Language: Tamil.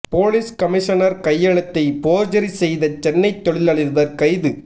போலீஸ் கமிஷனர் கையெழுத்தை போர்ஜரி செய்த சென்னை தொழில் அதிபர் கைது